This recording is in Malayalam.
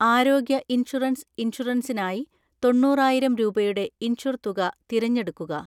ആരോഗ്യ ഇൻഷുറൻസ് ഇൻഷുറൻസിനായി തൊണ്ണൂറായിരം രൂപയുടെ ഇൻഷുർ തുക തിരഞ്ഞെടുക്കുക.